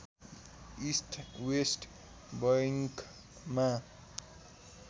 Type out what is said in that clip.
east west बैङ्कमा